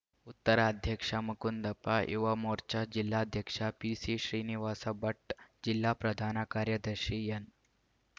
ಉತ್ತರ ಅಧ್ಯಕ್ಷ ಮುಕುಂದಪ್ಪ ಯುವ ಮೋರ್ಚಾ ಜಿಲ್ಲಾಧ್ಯಕ್ಷ ಪಿಸಿ ಶ್ರೀನಿವಾಸ ಭಟ್‌ ಜಿಲ್ಲಾ ಪ್ರಧಾನ ಕಾರ್ಯದರ್ಶಿ ಎನ್‌